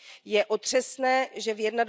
Je otřesné, že v